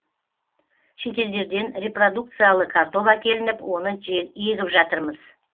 шетелдерден репродукциялы картоп әкелініп оны егіп жатырмыз